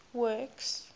works